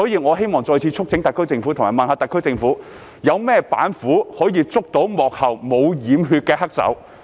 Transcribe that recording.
我想問特區政府有甚麼板斧可以捉拿幕後沒有染血的黑手？